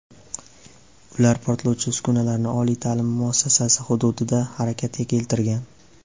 Ular portlovchi uskunalarni oliy ta’lim muassasasi hududida harakatga keltirgan.